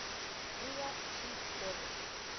wiyas chief dervish